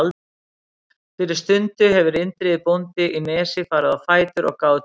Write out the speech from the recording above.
Fyrir stundu hefur Indriði bóndi í Nesi farið á fætur og gáð til veðurs.